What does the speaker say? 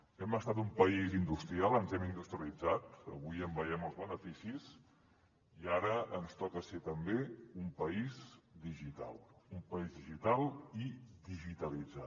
hem estat un país industrial ens hem industrialitzat avui en veiem els beneficis i ara ens toca ser també un país digital un país digital i digitalitzat